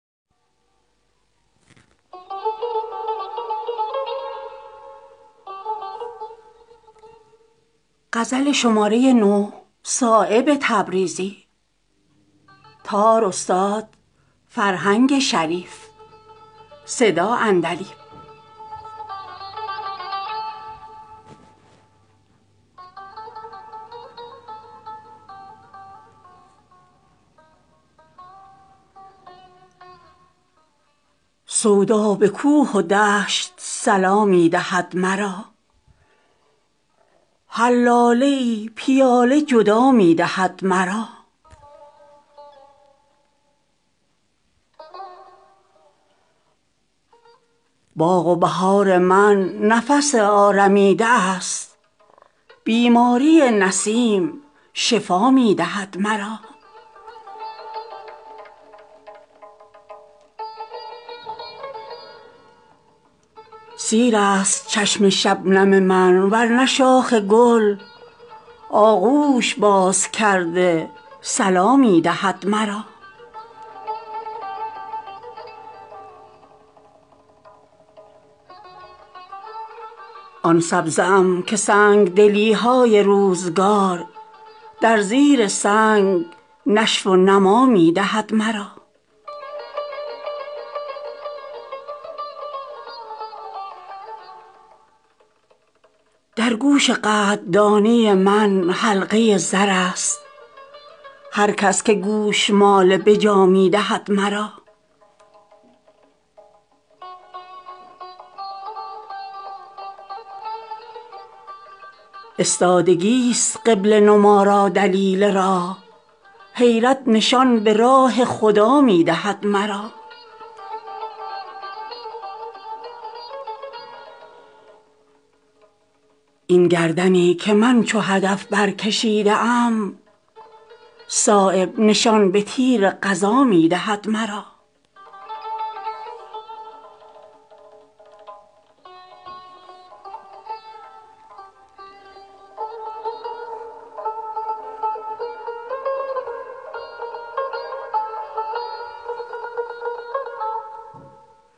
سودا به کوه و دشت صلا می دهد مرا هر لاله ای پیاله جدا می دهد مرا مستانه جلوه های تو در هر نظاره ای چون موج سر به آب بقا می دهد مرا میخانه ها به آب رسید از خمار من مینا و جام داد کجا می دهد مرا سیلاب من ز بیهده گردی است تیره دل استادگی چو بحر جلا می دهد مرا بارست موی بر سر آزاده خاطران از سایه کی فریب هما می دهد مرا در دیده سیاه دلانم اگر چه خوار آب حیات جان به بها می دهد مرا این آتشی که در جگر من گرفته است از جسم خود چو شمع غذا می دهد مرا باغ و بهار من نفس آرمیده است بیماری نسیم شفا می دهد مرا از بس لبم ز شکوه لب تشنگی پرست تبخاله ها صدا چو درا می دهد مرا سیرست چشم شبنم من ورنه شاخ گل آغوش باز کرده صلا می دهد مرا آن سبزه ام که سنگدلی های روزگار در زیر سنگ نشو و نما می دهد مرا آن خشک پاره ام که شود آب از انفعال ممسک اگر به دست گدا می دهد مرا در گوش قدردانی من حلقه زرست هر کس که گوشمال بجا می دهد مرا در خاک و خون نشانده چشم ستاره ام خاکستر سپهر جلا می دهد مرا استادگی است قبله نما را دلیل راه حیرت نشان به راه خدا می دهد مرا این گردنی که من چو هدف برکشیده ام صایب نشان به تیر قضا می دهد مرا